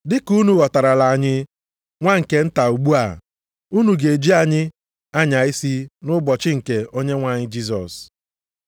Dịka unu ghọtarala anyị nwa nke nta ugbu a, unu ga-eji anyị anya isi nʼụbọchị nke Onyenwe anyị Jisọs.